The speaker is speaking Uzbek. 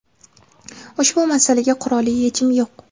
ushbu masalaga qurolli yechim yo‘q.